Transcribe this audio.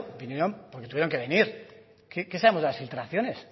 vinieron porque tuvieron que venir qué sabemos de las filtraciones